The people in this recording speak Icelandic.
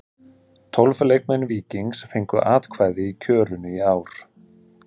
Tólf leikmenn Víkings fengu atkvæði í kjörinu í ár.